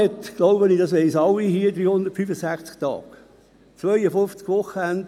Ich glaube, Sie wissen alle, dass ein Jahr 365 Tage hat.